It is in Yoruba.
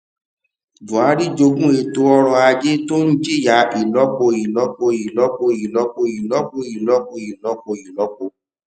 buhari jogún ètò ọrọ ajé tó ń jìyà ìlọpo ìlọpo ìlọpo ìlọpo ìlọpo ìlọpo ìlọpo ìlọpo